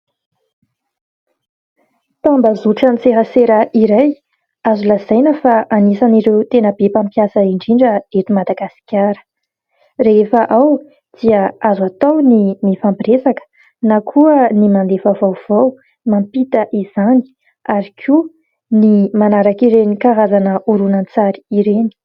tambazotran-tserasera iray azo lazaina fa anisan'ireo tena be mpampiasa indrindra eto Madagasikara; rehefa ao dia azo atao ny mifampiresaka na koa ny mandefa vaovao, mampita izany ary koa ny manaraka ireny karazana horonan-tsary ireny.